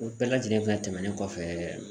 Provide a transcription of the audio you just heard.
O bɛɛ lajɛlen fɛnɛ tɛmɛnen kɔfɛ